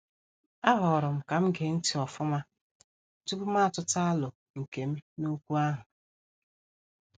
A horom kam gee ntị ofuma tupu ma atuta alo nkem n' okwu ahụ.